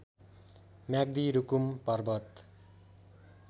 Myagdi Rukum Parbat